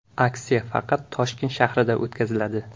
Aksiya faqat Toshkent shahrida o‘tkaziladi.